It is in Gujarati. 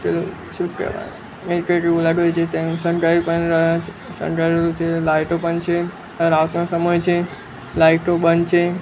શણગારેલું છે લાઈટો પણ છે રાતનો સમય છે લાઈટો બંધ છે.